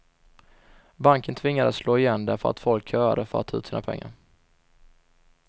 Banken tvingades slå igen därför att folk köade för att ta ut sina pengar.